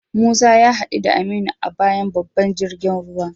Musa ya hadu da Aminu a bayan babban jirgin ruwa.